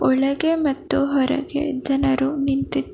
ಒಳಗೆ ಮತ್ತು ಹೊರಗೆ ಜನರು ನಿಂತಿದ್ದಾ--